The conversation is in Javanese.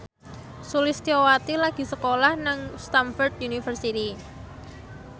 Sulistyowati lagi sekolah nang Stamford University